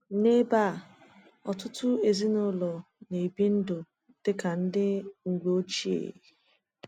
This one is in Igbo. N’ebe a, ọtụtụ ezinụlọ na-ebi ndụ dị ka ndị mgbe ochie.